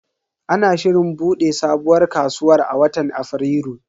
Ana shirin bude sabuwar kasuwar a watan Afrilu.